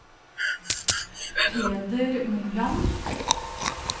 Peder Moland